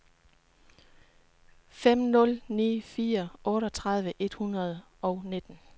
fem nul ni fire otteogtredive et hundrede og nitten